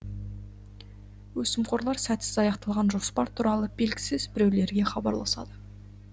өсімқорлар сәтсіз аяқталған жоспар туралы белгісіз біреулерге хабарласады